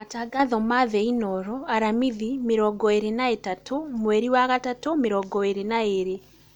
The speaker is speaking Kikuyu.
Matangatho ma thĩ Inooro Aramithi mĩrongo ĩĩrĩ na ĩtatũ mweri wa gatatũ mĩrongo ĩĩrĩ mĩrongo ĩĩrĩ